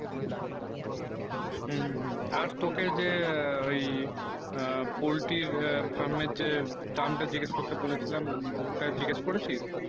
হম হম আর তোকে যে ঐই poultry farm এ যে দাম তা জিকেস করতে বলে ছিলাম ওটা জিগেস করেছিস